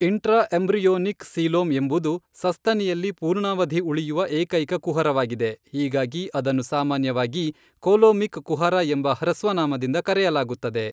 Intraembryonic coelom ಎಂಬುದು ಸಸ್ತನಿಯಲ್ಲಿ ಪೂರ್ಣಾವಧಿ ಉಳಿಯುವ ಏಕೈಕ ಕುಹರವಾಗಿದೆ, ಹೀಗಾಗಿ ಅದನ್ನು ಸಾಮಾನ್ಯವಾಗಿ ಕೋಲೋಮಿಕ್ ಕುಹರ ಎಂಬ ಹ್ರಸ್ವನಾಮದಿಂದ ಕರೆಯಲಾಗುತ್ತದೆ.